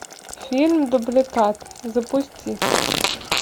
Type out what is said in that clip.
фильм дубликат запусти